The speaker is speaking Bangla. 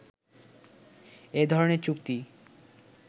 এ ধরনের চুক্তি